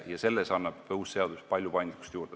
Selleks annab uus seadus palju paindlikkust juurde.